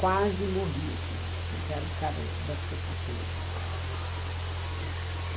Quase morri esse dia, porque era o cara da cê quatorze e tal, né?